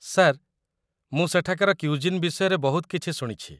Sir, ମୁଁ ସେଠାକାର cuisine ବିଷୟରେ ବହୁତ କିଛି ଶୁଣିଛି ।